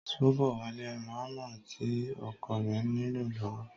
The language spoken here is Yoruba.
Ṣóbọ̀wálé ń ra ámà tí ọkọ rẹ̀ nílò lọ́wọ́